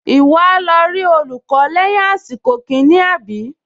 Ìwọ á lọ rí olùkọ́ lẹ́yìn àsìkò kìíní, àbí?